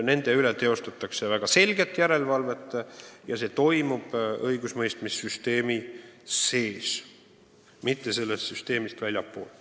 Nende üle teostatakse väga selget järelevalvet ja see toimub õigusemõistmise süsteemi sees, mitte sellest väljaspool.